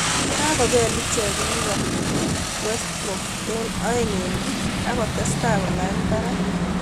Kakobel icheek livepool westbrom eng aenge eng puuch akotestai kolany parak